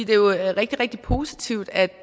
det jo er rigtig rigtig positivt at